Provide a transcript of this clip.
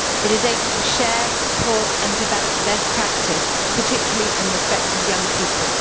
It is able to share, support and develop best practice, particularly in respect of young people.